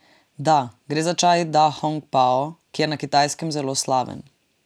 Da, gre za čaj dahongpao, ki je na Kitajskem zelo slaven.